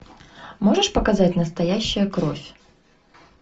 можешь показать настоящая кровь